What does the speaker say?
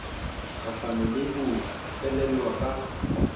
kgahlano le ho qhelelwa ka